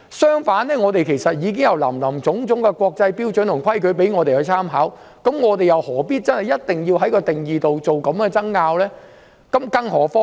相反，其實我們已有林林總總的國際標準和規矩可以參考，又何必一定要就定義作這樣的爭拗？